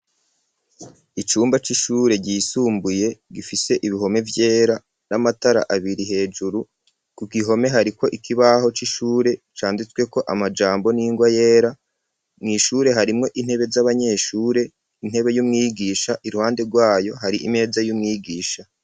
Icumba c'ishure ryisumbuye gifise ibihome vyera n’amatara abiri hejuru ku gihome hari ko ikibaho c'ishure canditswe ko amajambo n'ingwa yera mw'ishure harimwo intebe z'abanyeshure intebe y'umwigisha iruhande rwayo hari imeza y'umwigisha.